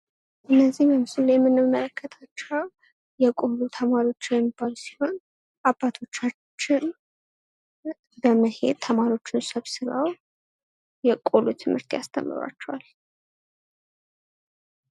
እነዚህ በምስሉ ላይ የምንመለከታቸው የቆሎ ተማሪ የሚባሉ ሲሆን አባቶቻችን በመሄድ ተማሪዎችን ተሰብስበው የቆሎ ትምህርት ያስተምሯቸዋል።